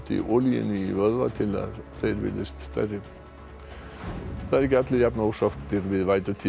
olíunni í vöðva til að þeir virðist stærri það eru ekki allir jafnósáttir við